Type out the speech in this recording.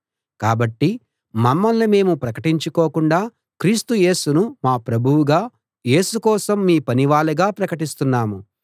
కాబట్టి మమ్మల్ని మేము ప్రకటించుకోకుండా క్రీస్తు యేసును మా ప్రభువుగా యేసు కోసం మీ పనివాళ్ళంగా ప్రకటిస్తున్నాము